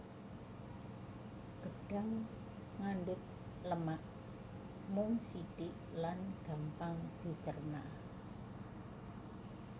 Gedhang ngandhut lemak mung sithik lan gampang dicérna